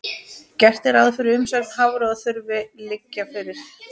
Gert er ráð fyrir að umsögn Hafró þurfi að liggja fyrir.